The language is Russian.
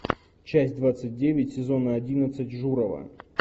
часть двадцать девять сезона одиннадцать журова